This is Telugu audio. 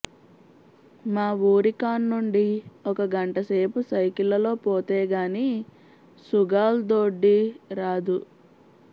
మా ఊరికాన్నుండి ఒక గంటసేపు సైకిళ్లలో పోతే గాని సుగాల్దొడ్డి రాదు